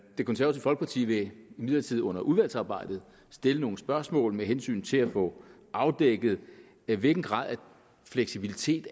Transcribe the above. det konservative folkeparti vil imidlertid under udvalgsarbejdet stille nogle spørgsmål med hensyn til at få afdækket hvilken grad af fleksibilitet